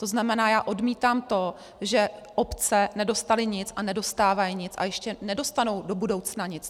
To znamená, já odmítám to, že obce nedostaly nic a nedostávají nic a ještě nedostanou do budoucna nic.